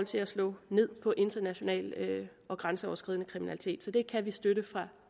til at slå ned på international og grænseoverskridende kriminalitet med så det kan vi støtte fra